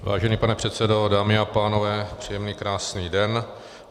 Vážený pane předsedo, dámy a pánové, příjemný krásný den.